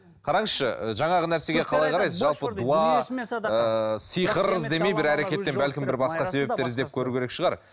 қараңызшы ы жаңағы нәрсеге қалай қарайсыз жалпы дуа ыыы сиқыр іздемей бір әрекеттен бәлкім бір басқа себептер іздеп көру керек шығар